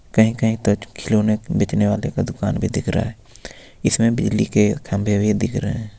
कही कही तो खिलौने बिकने वाले का दुकान भी दिख रहा है इसमें बिजली के खंभे भी दिख रहे है.